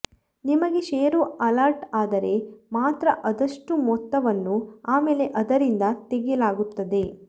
ನಿಮಗೆ share allot ಆದರೆ ಮಾತ್ರ ಆದಷ್ಟು ಮೊತ್ತವನ್ನು ಆಮೇಲೆ ಅದರಿಂದ ತೆಗೆಯಲಾಗುತ್ತದೆ